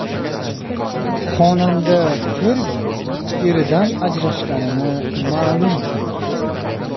Xonanda Fergi eridan ajrashganini ma’lum qildi.